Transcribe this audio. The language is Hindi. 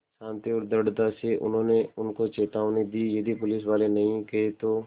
शान्ति और दृढ़ता से उन्होंने उनको चेतावनी दी यदि पुलिसवाले नहीं गए तो